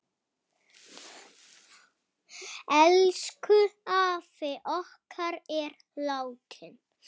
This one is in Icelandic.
Elsku afi okkar er látinn.